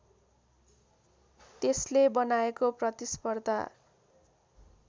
त्यसले बनाएको प्रतिस्पर्धा